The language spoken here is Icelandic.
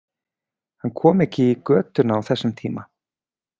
Hann kom ekki í götuna á þessum tíma.